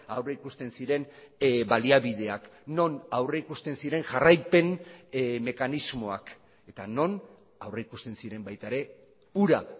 aurrikusten ziren baliabideak non aurrikusten ziren jarraipen mekanismoak eta non aurrikusten ziren baita ere hura